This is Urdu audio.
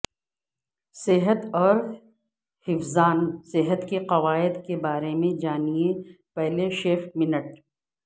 صحت اور حفظان صحت کے قواعد کے بارے میں جانیں پہلے شپمنٹ